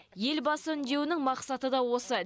елбасы үндеуінің мақсаты да осы